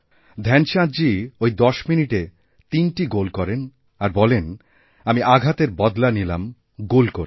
ধ্যানচাঁদজী ওই ১০ মিনিটে তিনটি গোল করেন আর বলেন আমি আঘাতেরবদলা নিলাম গোল করে